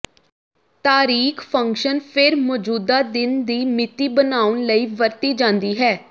ਤਾਰੀਖ ਫੰਕਸ਼ਨ ਫਿਰ ਮੌਜੂਦਾ ਦਿਨ ਦੀ ਮਿਤੀ ਬਣਾਉਣ ਲਈ ਵਰਤੀ ਜਾਂਦੀ ਹੈ